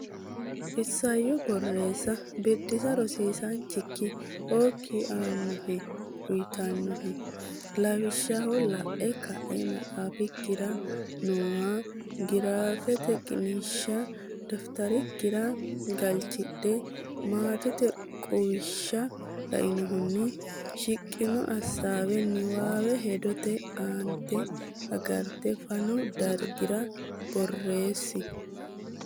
Isayyo Borreessa Biddissa Rosiisaanchikki okki aannohe uyitannohe lawishsha la’e ka’e maxaafikkira nooha giraafete qiniishsha dafitarikkira galchidhe, maatete quwishsha lainohunni shiqino hasaawi niwaawe hedote aante agarte fanu dargira borreessi.